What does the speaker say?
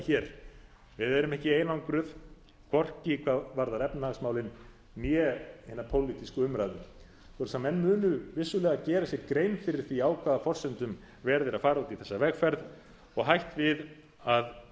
hér við erum ekki einangruð hvorki hvað varðar efnahagsmálin né hina pólitísku umræðu svoleiðis að menn munu vissulega gera sér grein fyrir því á hvað forsendum verið er að fara út í þessa vegferð og hætt við að hún